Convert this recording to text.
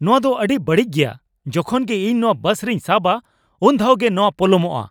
ᱱᱚᱶᱟ ᱫᱚ ᱟᱹᱰᱤ ᱵᱟᱹᱲᱤᱡ ᱜᱮᱭᱟ ᱾ ᱡᱚᱠᱷᱚᱱ ᱜᱮ ᱤᱧ ᱱᱚᱣᱟ ᱵᱟᱥ ᱨᱤᱧ ᱥᱟᱵᱽᱼᱟ, ᱩᱱ ᱫᱷᱟᱣ ᱜᱮ ᱱᱚᱣᱟ ᱯᱚᱞᱚᱢᱚᱜᱼᱟ ᱾